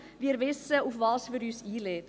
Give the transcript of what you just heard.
Wir wissen, auf was wir uns einlassen.